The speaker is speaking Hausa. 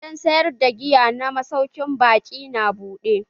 Gidan sayar da giya na masaukin baƙin na buɗe.